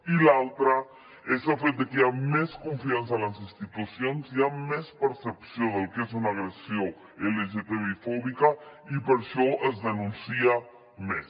i l’altra és el fet de que hi ha més confiança en les institucions hi ha més percepció del que és una agressió lgtbi fòbica i per això es denuncia més